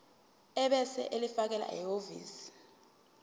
ebese ulifakela ehhovisi